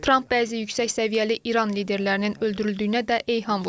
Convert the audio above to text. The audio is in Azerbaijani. Tramp bəzi yüksək səviyyəli İran liderlərinin öldürüldüyünə də eyham vurub.